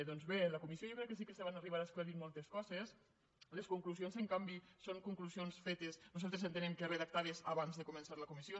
doncs bé en la comissió jo crec que sí que se van arribar a esclarir moltes coses les conclusions en canvi són conclusions fetes nosaltres entenem que redactades abans de començar la comissió